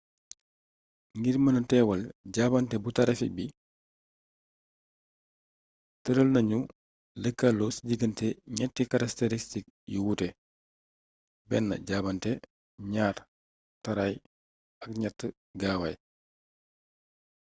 ngir gëna mëna teewal jaabante bu tarafik bi tëral nañu lëkkaloo ci digante ñetti karakteristik yu wuute: 1 jaabante 2 taraay ak 3 gaawaay